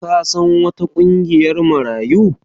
Ka san wata ƙungiyar Marayu?